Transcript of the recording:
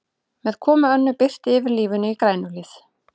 Með komu Önnu birtir yfir lífinu í Grænuhlíð.